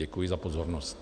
Děkuji za pozornost.